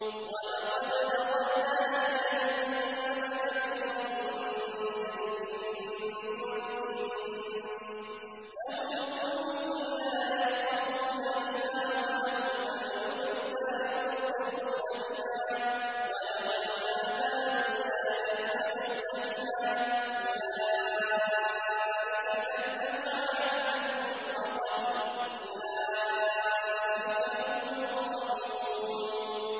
وَلَقَدْ ذَرَأْنَا لِجَهَنَّمَ كَثِيرًا مِّنَ الْجِنِّ وَالْإِنسِ ۖ لَهُمْ قُلُوبٌ لَّا يَفْقَهُونَ بِهَا وَلَهُمْ أَعْيُنٌ لَّا يُبْصِرُونَ بِهَا وَلَهُمْ آذَانٌ لَّا يَسْمَعُونَ بِهَا ۚ أُولَٰئِكَ كَالْأَنْعَامِ بَلْ هُمْ أَضَلُّ ۚ أُولَٰئِكَ هُمُ الْغَافِلُونَ